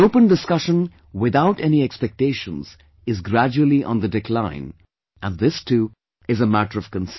An open discussion without any expectations is gradually on the decline and this too is a matter of concern